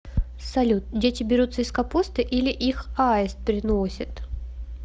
салют дети берутся из капусты или их аист приносит